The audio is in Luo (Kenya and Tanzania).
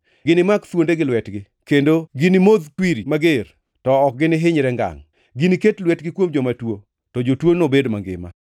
ginimak thuonde gi lwetgi, kendo ginimodhi kwiri mager, to ok ginihinyre ngangʼ, giniket lwetgi kuom joma tuo, to jotuo nobed mangima.”